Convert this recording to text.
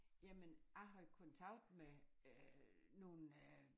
Jamen jeg har jo kontakt med øh nogen øh